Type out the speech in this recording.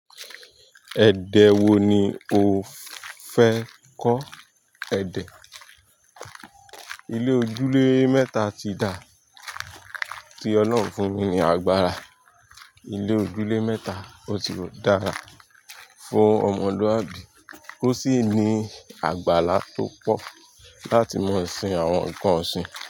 Ẹ̀dẹ̀ wo ni o fẹ́ kọ́ èdè? Ilé ojúlé mẹ́ta ti da, ti ọlọ́run fún mi ní agbára. Ilé ojúlé mẹ́ta ó ti dára fún ọmọlúwàbí, ó sì ní àgbála tó pọ̀ láti máa sin àwọn nǹkan ọ̀sìn.